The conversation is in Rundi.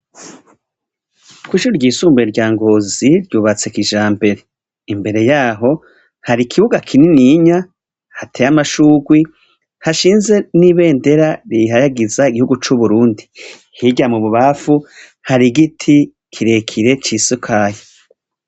Kw’ishuri ryisumbuye rya Ngozi ryubatse kijambere. Imbere yaho har’ikibuga kininiya hatey’amashurwe , hashinze n’ibendera rihayagiza igihugu c’Uburundi. Hirya mububanfu har’igiti kirekire cisakaye.